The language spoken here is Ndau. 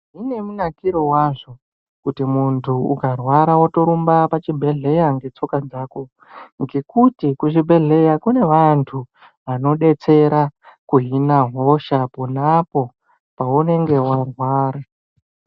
Zvine munakiro wazvo kuti muntu ukarwara wotorumba pachibhedhlera ngetsoka dzako ngekuti kuzvibhedhlera kune vantu vanodetsera kuhina hosha pona apo paunenge warwara.